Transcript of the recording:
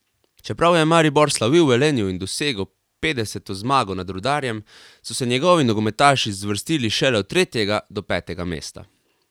Čeprav je Maribor slavil v Velenju in dosegel petdeseto zmago nad Rudarjem, so se njegovi nogometaši zvrstili šele od tretjega do petega mesta.